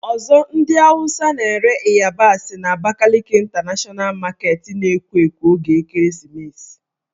Ọzọ ndị Awụsa na-ere ịyabasị n' Abakaliki Ịntanashọna Maketi na-ekwo ekwo oge ekereesimesi